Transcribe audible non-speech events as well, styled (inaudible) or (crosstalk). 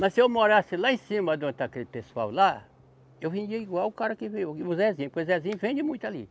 Mas se eu morasse lá em cima de onde está aquele pessoal lá, eu vendia igual o cara que (unintelligible) o Zezinho, porque o Zezinho vende muito ali.